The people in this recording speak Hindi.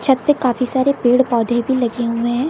छत पे काफी सारे पेड़ पौधे भी लगे हुए हैं।